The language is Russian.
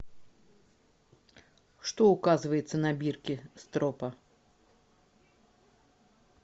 что указывается на бирке стропа